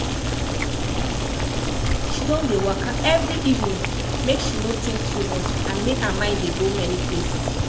she don dey waka every evening make she no think too much and make her mind dey go many places